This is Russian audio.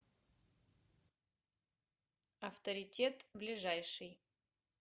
авторитет ближайший